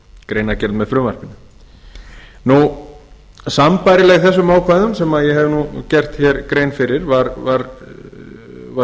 greinargerð með frumvarpinu í heild sinni sambærileg þessum ákvæðum sem ég hef nú gert hér grein fyrir var